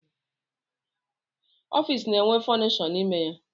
Ọfịs bụ na-enwe fọnishọ n'ime ya.